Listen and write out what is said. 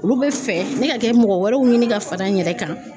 Olu bɛ fɛ ne ka kɛ mɔgɔ wɛrɛw ɲini ka fara n yɛrɛ kan